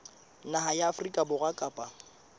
naha ya afrika borwa kapa